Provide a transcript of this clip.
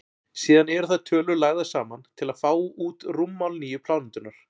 síðan eru þær tölur lagðar saman til að fá út rúmmál nýju plánetunnar